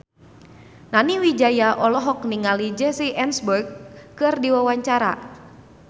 Nani Wijaya olohok ningali Jesse Eisenberg keur diwawancara